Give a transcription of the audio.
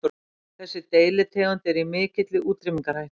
Þessi deilitegund er í mikilli útrýmingarhættu.